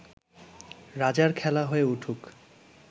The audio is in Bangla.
রাজার খেলা হয়ে উঠুক